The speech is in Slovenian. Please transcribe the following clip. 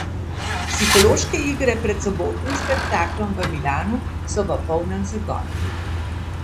Psihološke igre pred sobotnim spektaklom v Milanu so v polnem zagonu.